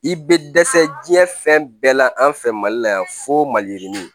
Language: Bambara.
I bɛ dɛsɛ diɲɛ fɛn bɛɛ la an fɛ mali la yan fo maliyirini